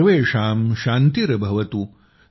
सर्वेषां शान्तिर्भवतु